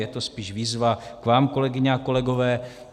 Je to spíš výzva k vám, kolegyně a kolegové.